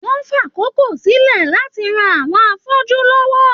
Wọn n fàkókò sílẹ láti ràn àwọn afọju lọwọ.